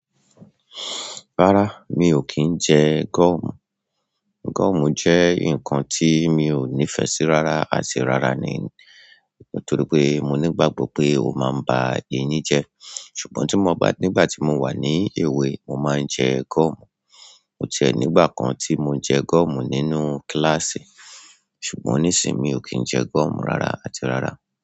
Rárá, mi ò kí ń jẹ gọ̀mù. Gọ̀mù jẹ́ nǹkan tí mi ò nífẹsí rárá àti rárá ni, nítorí pé mo ní ìgbàgbọ́ pé ó máa ń ba eyín jẹ́. Ṣùgbọ́n tí mo bá, nígbà tí mo wà ní èwe, mo máa ń jẹ gọ̀mù. O tiẹ nígbà kan tí mo jẹ gúọ̀mù nínú kíláàsì. Ṣùgbọ́n nísìí, mi ò kí ń jẹ gúọ̀mù rárá àti rárá.